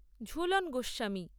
Jhulan Goswami